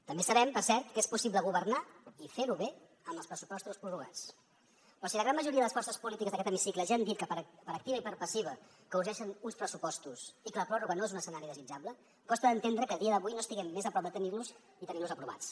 també sabem per cert que és possible governar i fer ho bé amb els pressupostos prorrogats però si la gran majoria de les forces polítiques d’aquest hemicicle ja han dit per activa i per passiva que urgeixen uns pressupostos i que la pròrroga no és un escenari desitjable costa d’entendre que a dia d’avui no estiguem més a prop de tenir los i tenir los aprovats